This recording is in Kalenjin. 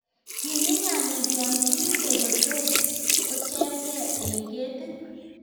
Kiinyi nyayik yon kibute kotor kocherge e ketit.